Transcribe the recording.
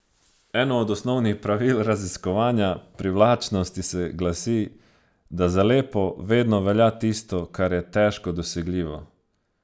Eno od osnovnih pravil raziskovanja privlačnosti se glasi, da za lepo vedno velja tisto, kar je težko dosegljivo.